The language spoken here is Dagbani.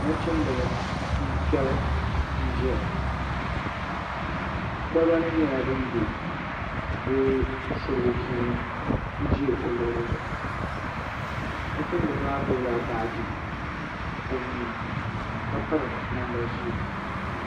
Nachimbili n fɛbi n ʒɛya kolba nim nyɛla din bɛ di surugu puuni n ʒɛ o luɣuli zuɣu nachimbili maa gbubila baaji o nuuni ka piri namda ʒiɛ